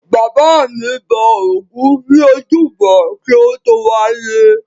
Bàbá mi bọ ògún ní ojúbọ kí o tó wálé.